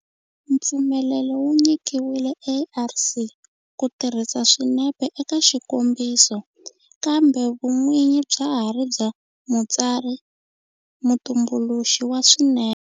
Mpfumelelo wu nyikiwile ARC ku tirhisa swinepe eka xikombiso kambe vun'winyi bya ha ri bya mutsari-mutumbuluxi wa swinepe.